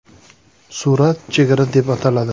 Surat “Chegara” deb ataladi.